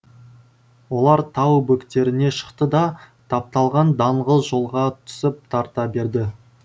олар тау бөктеріне шықты да тапталған даңғыл жолға түсіп тарта берді